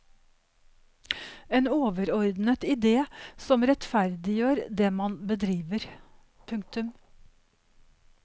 En overordnet idé som rettferdiggjør det man bedriver. punktum